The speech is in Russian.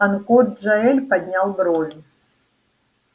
анкор джаэль поднял брови